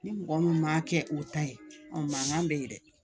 Ni mɔgɔ min ma kɛ o ta ye mankan bɛ ye dɛ